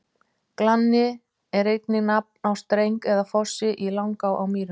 Glanni er einnig nafn á streng eða fossi í Langá á Mýrum.